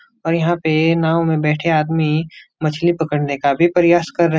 और यहाँ पे नाव में बैठे आदमी मछली पकड़ने का भी प्रयास कर रहे --